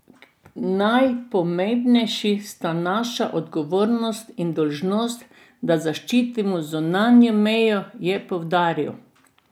Najpomembnejši sta naša odgovornost in dolžnost, da zaščitimo zunanjo mejo, je poudaril.